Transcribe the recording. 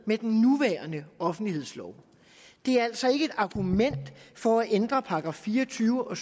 med den nuværende offentlighedslov det er altså ikke et argument for at ændre § fire og tyve og